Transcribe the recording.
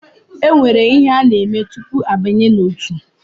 E nwere ihe a na-eme tupu abanye n’otu